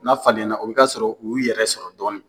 N'a falenna o bɛ k'a sɔrɔ u y'u yɛrɛ sɔrɔ dɔɔni.